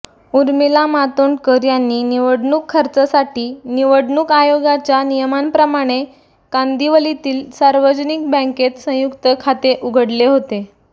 उर्मिला मातोंडकर यांनी निवडणूक खर्चासाठी निवडणूक आयोगाच्या नियमांप्रमाणे कांदिवलीतील सार्वजनिक बँकेत संयुक्त खाते उघडले होते